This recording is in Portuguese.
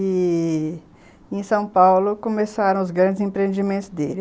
E em São Paulo começaram os grandes empreendimentos dele.